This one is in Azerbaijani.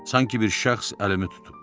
Sanki bir şəxs əlimi tutub.